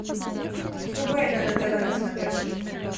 врубай нано тв на смотрешке